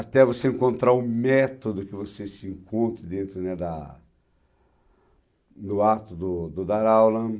Até você encontrar o método que você se encontra dentro, né, da do ato do do dar aula.